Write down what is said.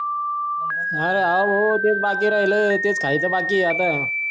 हा हो तेच बाकी राहिलाय तेच खायचा बाकी आता